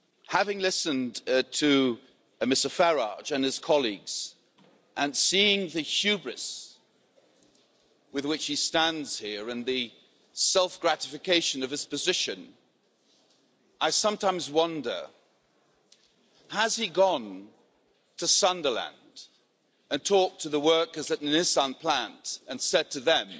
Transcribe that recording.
Having listened to Mr Farage and his colleagues, and seeing the hubris with which he stands here and the self gratification of his position, I sometimes wonder whether he has gone to Sunderland and talked to the workers at the Nissan plant and said to them,